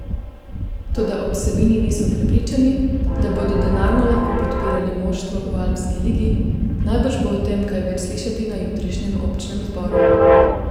Toda ob Savinji niso prepričani, da bodo denarno lahko podpirali moštvo v alpski ligi, najbrž bo o tem kaj več slišati na jutrišnjem občnem zboru.